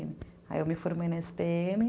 Aí eu me formei na esse pê eme.